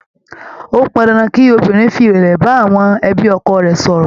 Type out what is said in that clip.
Ó pọn dandan kí obìnrin fi ìrẹ̀lẹ̀ bá àwọn ẹbí ọkọ rẹ̀ sọ̀rọ̀.